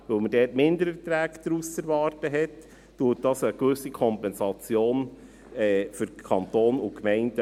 Weil man dort Mindererträge zu erwarten hat, ergibt sich hier eine gewisse Kompensation für den Kanton und die Gemeinden.